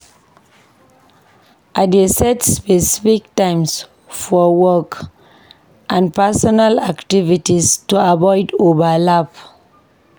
I dey set specific times for work and personal activities to avoid overlap.